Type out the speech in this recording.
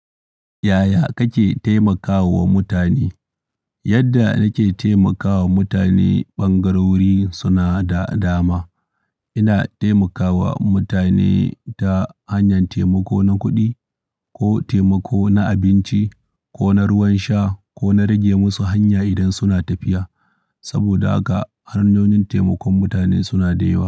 Yaya kake taimakawa mutane? Yadda nake taimakawa mutane ɓangarori suna da dama. Ina taimakawa mutane ta hanyar taimako na kuɗi ko taimako na abinci ko na ruwan sha ko na rage musu hanya idan suna tafiya. Saboda ga hanyoyin taimakon mutane suna da yawa.